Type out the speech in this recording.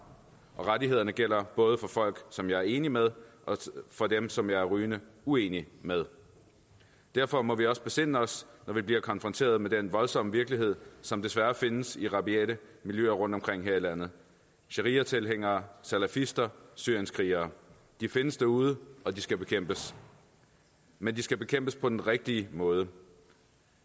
og rettighederne gælder både for folk som jeg er enig med og for dem som jeg er rygende uenig med derfor må vi også besinde os når vi bliver konfronteret med den voldsomme virkelighed som desværre findes i rabiate miljøer rundtomkring her i landet shariatilhængere salafister syrienskrigere de findes derude og de skal bekæmpes men de skal bekæmpes på den rigtige måde